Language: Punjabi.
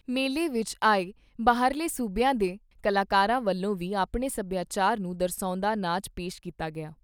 ਮੇਲੇ ਵਿਚ ਆਏ ਬਾਹਰਲੇ ਸੂਬਿਆਂ ਦੇ ਕਲਾਕਾਰਾਂ ਵੱਲੋਂ ਵੀ ਆਪਣੇ ਸਭਿਆਚਾਰ ਨੂੰ ਦਰਸਾਉਂਦਾ ਨਾਚ ਪੇਸ਼ ਕੀਤਾ ਗਿਆ।